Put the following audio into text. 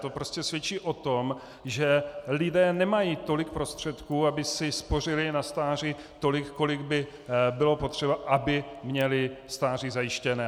To prostě svědčí o tom, že lidé nemají tolik prostředků, aby si spořili na stáří tolik, kolik by bylo potřeba, aby měli stáří zajištěné.